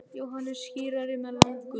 Jóhannes skírari með lamb Guðs.